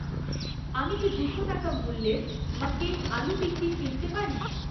আমি কি দুশো টাকা মূল্যের ম্যাককেইন আলু টিক্কি কিনতে পারি?